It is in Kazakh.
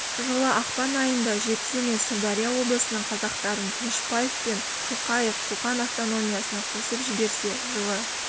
жылы ақпан айында жетісу мен сырдария облысының қазақтарын тынышпаев пен шоқаев қоқан автономиясына қосып жіберсе жылы